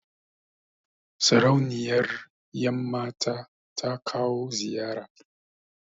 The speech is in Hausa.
Sarauniyar ƴan mata ta kawo ziyara